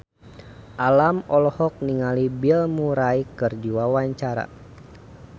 Alam olohok ningali Bill Murray keur diwawancara